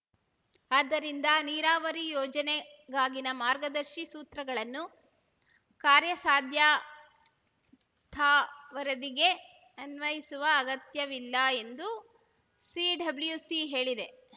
ಆದ್ದರಿಂದ ನೀರಾವರಿ ಯೋಜನೆಗಾಗಿನ ಮಾರ್ಗದರ್ಶಿ ಸೂತ್ರಗಳನ್ನು ಕಾರ್ಯಾಸಾಧ್ಯತಾ ವರದಿಗೆ ಅನ್ವಯಿಸುವ ಅಗತ್ಯವಿಲ್ಲ ಎಂದು ಸಿಡಬ್ಲ್ಯುಸಿ ಹೇಳಿದೆ